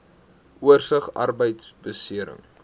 oorsig arbeidbeserings